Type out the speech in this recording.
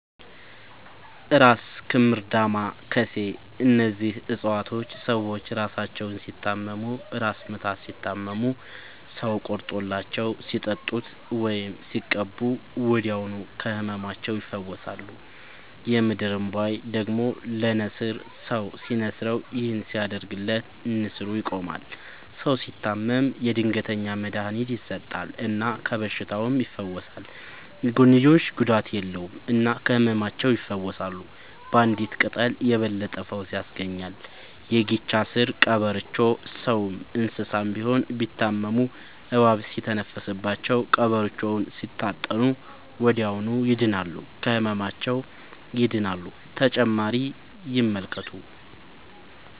እራስ ክምር ዳማ ከሴ እነዚህ ፅፀዋቶች ሰዎች እራሳቸውን ሲታመሙ እራስ ምታት ሲታመሙ ሰው ቆርጦላቸው ሲጠጡት ወይም ሲቀቡ ወዲያውኑ ከህመማቸው ይፈወሳሉ። የምድር እንቧይ ደግሞ ለነሲር ሰው ሲንስረው ይህን ሲያደርግለት ነሲሩ ይቆማል። ሰው ሲታመም የድንገተኛ መድሀኒት ይሰጠል እና ከበሽታውም ይፈወሳል። የጎንዮሽ ጉዳት የለውም እና ከህመማቸው ይፈውሳሉ ባንዲት ቅጠል የበለጠ ፈውስ ያገኛሉ። የጊቻ ስር ቀበሮቾ ሰውም እንሰሳም ቢሆን ቢታመሙ እባብ ሲተነፍስባቸው ቀብሮቾውን ሲታጠኑ ወደዚያውኑ ይድናሉ። ከህመማቸው ይድናሉ…ተጨማሪ ይመልከቱ